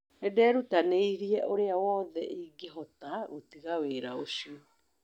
Nĩ ndeerutanĩirie ũrĩa wothe ingĩahotire gũtiga wĩra ũcio